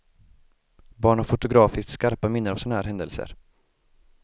Barn har fotografiskt skarpa minnen av såna här händelser.